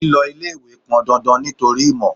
Lílọ ilé-ìwé pọn dandan nítorí ìmò.